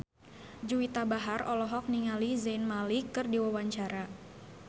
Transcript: Juwita Bahar olohok ningali Zayn Malik keur diwawancara